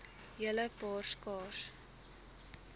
hele paar skaars